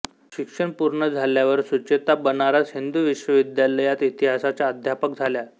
शिक्षण पूर्ण झाल्यावर सुचेता बनारस हिंदू विश्वविद्यालयात इतिहासाच्या अध्यापक झाल्या